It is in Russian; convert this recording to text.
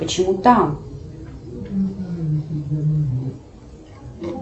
почему там